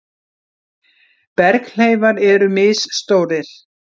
Berghleifar eru misstórir.